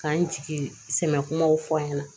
K'an jigi sɛmɛn kumaw fɔ an ɲɛna